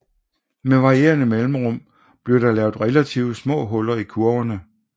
Med varierende mellemrum bliver der lavet relativt små huller i kurverne